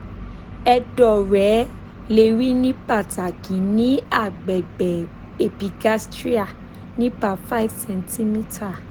ẹdọ rẹ le ri ni pataki ni agbegbe epigastria nipa 5 cm